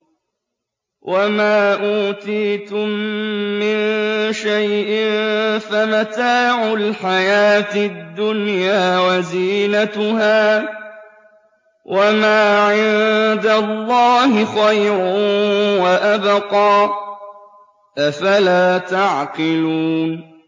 وَمَا أُوتِيتُم مِّن شَيْءٍ فَمَتَاعُ الْحَيَاةِ الدُّنْيَا وَزِينَتُهَا ۚ وَمَا عِندَ اللَّهِ خَيْرٌ وَأَبْقَىٰ ۚ أَفَلَا تَعْقِلُونَ